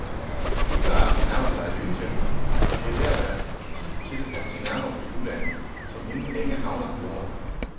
Juleaften nærmer sig i lyntempo, og det er ved at være tid til at se nærmere på juleanden, som inden længe havner på julebordet.